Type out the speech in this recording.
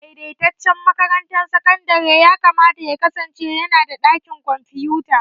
Daidaitaccen makarantar sakandare yakamata ya kasance yana da ɗakin kwamfuta.